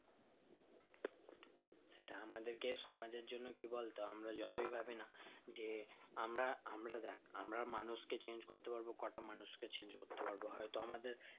সেটা আমাদের কে সমাজের জন্য কি বলতো আমরা যতই ভাবি না যে আমরা আমরা দেখ আমরা মানুষ কে change করতে পারবো কোটা মানুষ কে change করতে পারবো হয় তো আমাদের